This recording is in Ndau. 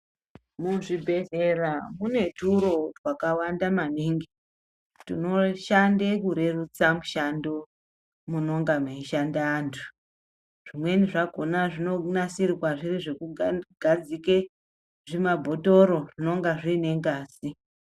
Muzvibhedhlera mune turo twakawanda maingi tunoshande kurerutsa mushando munonga meishande antu. Zvimweni zvakona zvinonasirwa zviri zvekugadzike zvimabhotoro zvinenga zviine ngazi.